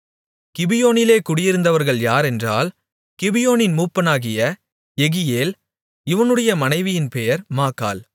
கிபியோனிலே குடியிருந்தவர்கள் யாரென்றால் கிபியோனின் மூப்பனாகிய யெகியேல் இவனுடைய மனைவியின் பெயர் மாக்காள்